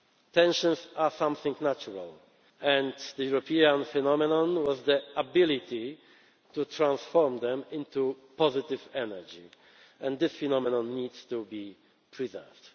and effective. Tensions are something natural, and the European phenomenon was the ability to transform them into positive energy. This phenomenon needs to be preserved.